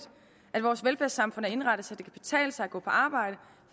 at vores velfærdssamfund er indrettet så det kan betale sig at gå på arbejde